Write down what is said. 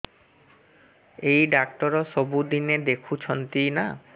ଏଇ ଡ଼ାକ୍ତର ସବୁଦିନେ ଦେଖୁଛନ୍ତି ନା